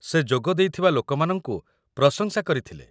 ସେ ଯୋଗଦେଇଥିବା ଲୋକମାନଙ୍କୁ ପ୍ରଶଂସା କରିଥିଲେ